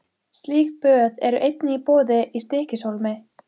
Slík böð eru einnig í boði í Stykkishólmi.